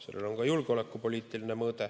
Sellel on ka julgeolekupoliitiline mõõde.